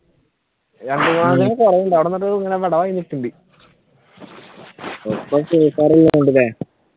രണ്ട് കൊറവുണ്ട് നിക്കുണ്ട് ഒക്കെ ഫ്രീഫയർ അല്ലെ കൊണ്ടുവന്നേ ഉം